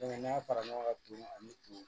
n'a fara ɲɔgɔn ka tumu ani tumu